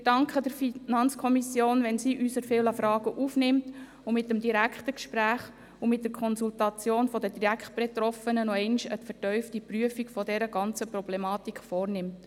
Wir danken der FiKo, wenn sie unsere vielen Fragen aufnimmt und mit dem direkten Gespräch und der Konsultation der Direktbetroffenen nochmals eine vertiefte Prüfung der ganzen Problematik vornimmt.